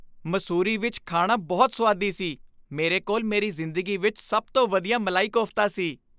ਮਸੂਰੀ ਵਿੱਚ ਖਾਣਾ ਬਹੁਤ ਸੁਆਦੀ ਸੀ। ਮੇਰੇ ਕੋਲ ਮੇਰੀ ਜ਼ਿੰਦਗੀ ਵਿੱਚ ਸਭ ਤੋਂ ਵਧੀਆ ਮਲਾਈ ਕੋਫ਼ਤਾ ਸੀ।